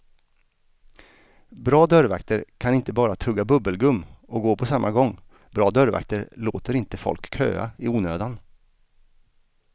Bra dörrvakter kan inte bara tugga bubbelgum och gå på samma gång, bra dörrvakter låter inte folk köa i onödan.